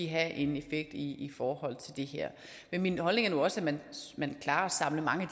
have en effekt i forhold til det her men min holdning er nu også at man klarer at samle mange